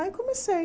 Aí comecei.